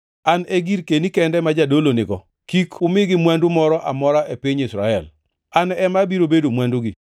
“ ‘An e girkeni kende ma jadolo nigo. Kik umigi mwandu moro amora e piny Israel. An ema abiro bedo mwandugi.